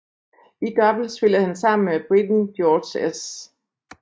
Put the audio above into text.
I double spillede han sammen med briten George S